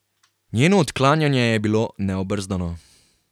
Njeno odklanjanje je bilo neobrzdano.